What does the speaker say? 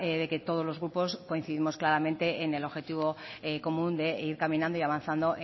de que todos los grupos coincidimos claramente en el objetivo común de ir caminando y avanzando